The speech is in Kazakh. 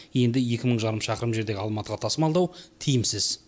енді екі мың жарым шақырым жердегі алматыға тасымалдау тиімсіз